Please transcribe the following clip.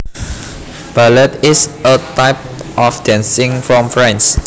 Ballet is a type of dancing from France